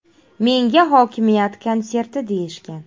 Menga hokimiyat konserti deyishgan.